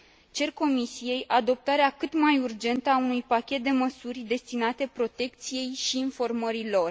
Cer Comisiei adoptarea cât mai urgentă a unui pachet de măsuri destinate protecției și informării lor.